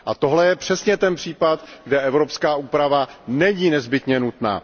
A tohle je přesně ten případ, kde evropská úprava není nezbytně nutná.